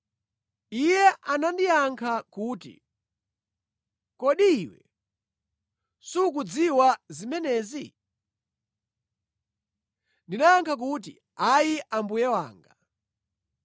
Iye anandiyankha kuti, “Kodi iwe sukuzidziwa zimenezi?” Ndinayankha kuti, “Ayi mbuye wanga.”